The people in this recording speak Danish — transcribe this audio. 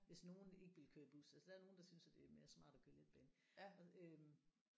Hvis nogen ikke vil køre i bus altså der er nogen der synes at det er mere smart at køre letbane og øh